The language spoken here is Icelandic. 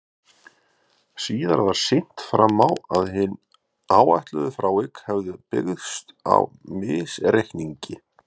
síðar var sýnt fram á að hin áætluðu frávik hefðu byggst á misreikningi